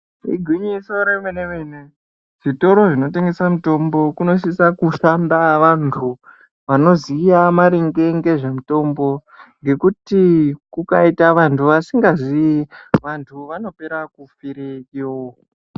Igwinyiso remene-mene. Zvitoro zvinotengesa mitombo kunosisa kushanda vantu vanoziya maringe ngezvemitombo. Ngekuti kukaita vantu vasikazii vantu vanopera kufireyo.